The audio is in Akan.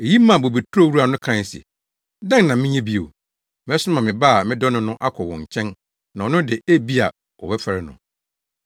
“Eyi maa bobeturo wura no kae se, ‘Dɛn na menyɛ bio? Mɛsoma me ba a medɔ no no akɔ wɔn nkyɛn na ɔno de, ebia wɔbɛfɛre no.’